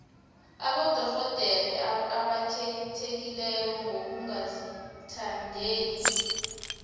abodorhodere abakhethekileko ngokungazithandeli